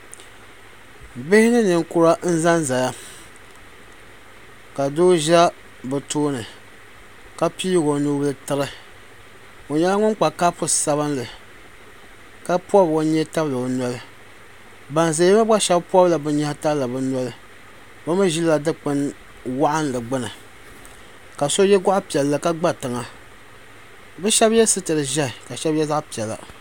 Bihi ni ninkura n za n zaya ka doo ʒɛ bi tooni ka pii o nubila tiri o nyɛla ŋun kpa kapu sabinli ka pɔbi o nyee tabili o noli ban zaya ŋɔ gba shɛba pɔbi la bi nyehi tabili bi noli bi mi ʒila dikpun waɣinli gbuni ka so yɛ gɔɣu piɛlli ka gba tiŋa bi shɛba yɛ sitira ʒiɛhi ka shɛba yɛ zaɣa piɛla.